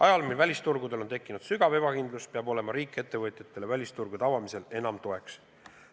Ajal, mil välisturgudel on tekkinud suur ebakindlus, peab riik ettevõtjatele välisturgude avamisel enam toeks olema.